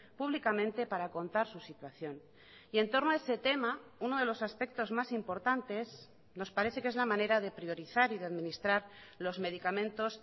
públicamente para contar su situación y en torno a ese tema uno de los aspectos más importantes nos parece que es la manera de priorizar y de administrar los medicamentos